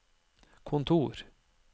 kontor